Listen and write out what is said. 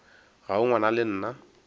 ga o ngwana le nna